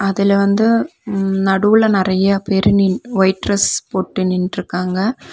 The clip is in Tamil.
இதுல வந்து நடுவுல நெறைய பேரு நீன் ஒயிட் டிரஸ் போட்டு நின்ட்ருக்காங்க.